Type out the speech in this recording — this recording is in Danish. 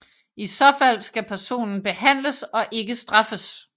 I så fald skal personen behandles og ikke straffes